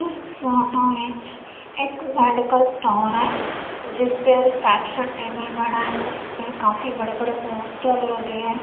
इस फोटो विच एक मेडिकल स्टोर है जिसपे रिसेप्शन टेबल बना है उसपे काफी काफी बड़े बड़े पोस्टर लगे है।